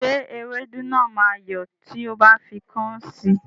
Ṣé ewédú náà máa yọ́ tí o bá fi kọ́ún sí?